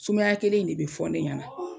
Sumaya kelen in de be fɔ ne ɲɛna